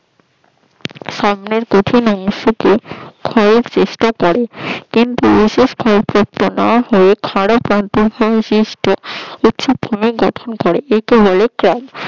সামনের কঠিন অংশ কে ক্ষয়ের চেষ্টা করে কিন্তু বিশেষ ক্ষয় করতে না পেরে উচ্চভূমি গঠন করে একে বলে ক্যাল